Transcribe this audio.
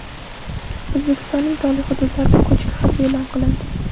O‘zbekistonning tog‘li hududlarida ko‘chki xavfi e’lon qilindi.